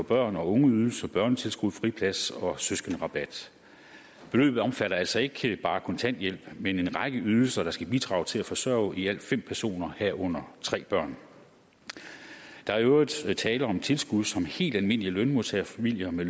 børn og ungeydelser børnetilskud friplads og søskenderabat beløbet omfatter altså ikke bare kontanthjælp men en række ydelser der skal bidrage til at forsørge i alt fem personer herunder tre børn der er i øvrigt tale om tilskud som helt almindelige lønmodtagerfamilier med